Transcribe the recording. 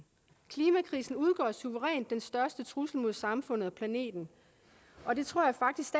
klimakrisen udgør suverænt den største trussel mod samfundet og planeten og det tror jeg faktisk